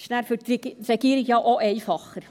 Es ist dann für die Regierung ja auch einfacher.